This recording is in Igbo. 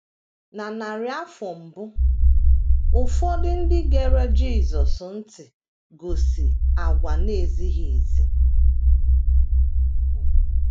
Na narị afọ mbụ, ụfọdụ ndị gere Jisọs ntị gosi àgwà na - ezighị ezi.